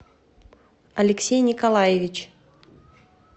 алексей николаевич